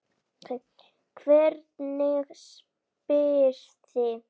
Hvernig spyrðu!